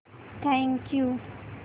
thank you